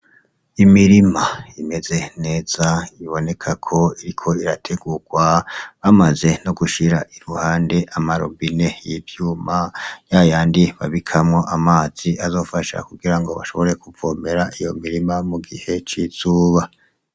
Imirima imeze neza iboneka ko iriko irategurwa bamaze no gushira iruhande amarobine y'ivyuma ya yandi babikamwo amazi azofasha kugira ngo bashobore kuvomera iyo mirima mu gihe c'izuba.